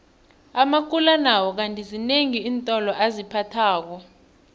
amakula nawo kandi zinengi iintolo aziphathako